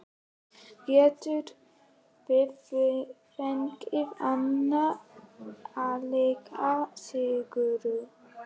Gætum við fengið annan álíka sigur?